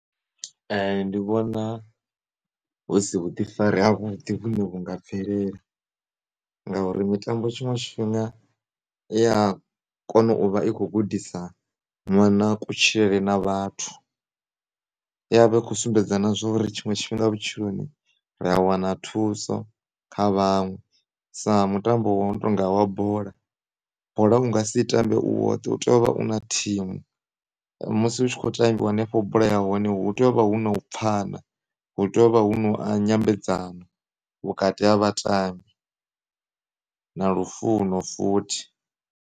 Ndi vhona hu si vhuḓifari ha vhuḓi vhune vhu nga bvelela ngauri mitambo tshiṅwe tshifhinga i ya kona u vha i kho gudisa ṅwana kutshilele na vhathu i ya vha i kho sumbedza na zwori tshiṅwe tshifhinga vhutshiloni ri a wana thuso kha vhaṅwe sa mutambo wo no tonga wa bola, bola u nga si i tambe u woṱhe u tea u vha u na thimu. Musi hu tshi kho tambiwa hanefho bolani ya hone hu tea u vha hu na u pfhana, hu tea u vha hu na nyambedzano vhakati ha vhatambi na lufuno futhi.